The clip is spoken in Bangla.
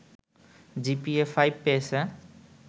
জিপিএ-৫ পেয়েছে